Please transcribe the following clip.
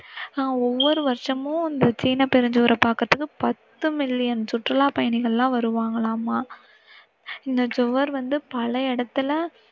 ஒவ்வொரு வருஷமும் இந்த சீன பெருஞ்சுவரை பாக்கிறதுக்கு பத்து மில்லியன் சுற்றுலா பயணிகள் எல்லாம் வருவாங்களாமாம். இந்த சுவர் வந்து பல இடத்துல